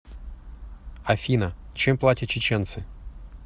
афина чем платят чеченцы